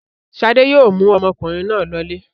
Ṣadé yóò mú ọmọkùnrin náà lọlé.